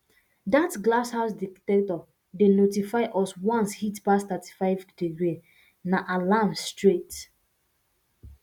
that glass house dectector dey notify us once heat pass 35 degree na alarm straight